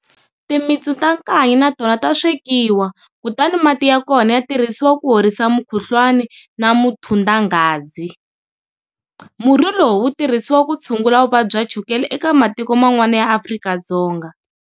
Timitsu ta nkanyi na tona ta swekiwa kutani mati ya kona ya tirhisiwa ku horisa mukhuhlwana na muthundangazi. Murhi lowu wu tirhisiwa ku tshungula vuvabyi bya chukele eka matiko man'wana ya Afrika-Dzonga.